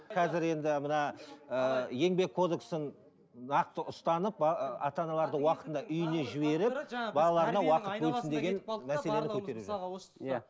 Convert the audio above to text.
қазір енді мына ыыы еңбек кодексін нақты ұстанып ана аналарды уақытында үйіне жіберіп